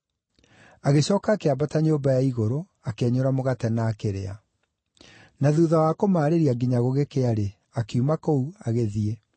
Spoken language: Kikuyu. Agĩcooka akĩambata nyũmba ya igũrũ, akĩenyũra mũgate na akĩrĩa. Na thuutha wa kũmaarĩria nginya gũgĩkĩa-rĩ, akiuma kũu, agĩthiĩ.